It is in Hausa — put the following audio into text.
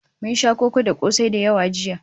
Mun sha koko da kosai da yawa jiya